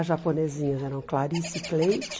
As japonesinhas eram Clarice e Cleide.